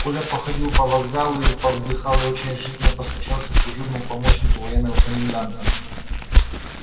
коля походил по вокзалу повздыхал и не очень решительно постучался к дежурному помощнику военного коменданта